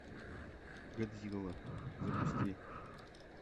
годзилла запусти